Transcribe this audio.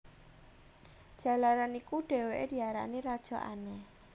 Jalaran iku dhèwèké diarani Raja Aneh